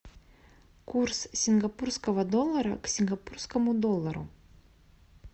курс сингапурского доллара к сингапурскому доллару